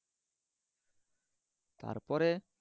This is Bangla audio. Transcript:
তারপরে